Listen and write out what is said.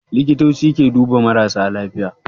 Likitoci ke duba marasa lafiya